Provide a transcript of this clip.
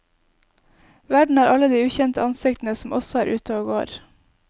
Verden er alle de ukjente ansiktene som også er ute og går.